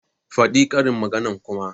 Fadin karin magana kuma!